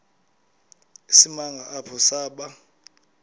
isimanga apho saba